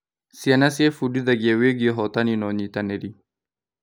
Ciana ciebundithagia wĩgiĩ ũhotani na ũnyitanĩri.